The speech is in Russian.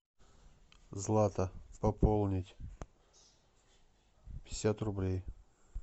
злата пополнить пятьдесят рублей